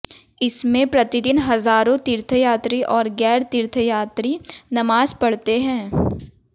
इसमें प्रतिदिन हज़ारों तीर्थयात्री और ग़ैर तीर्थयात्री नमाज़ पढ़ते हैं